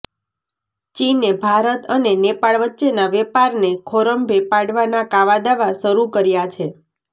ચીને ભારત અને નેપાળ વચ્ચેના વેપારને ખોરંભે પાડવાના કાવાદાવા શરૂ કર્યા છે